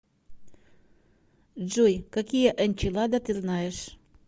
джой какие энчилада ты знаешь